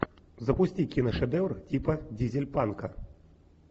запусти киношедевр типа дизель панка